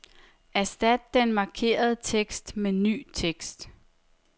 Erstat den markerede tekst med ny tekst.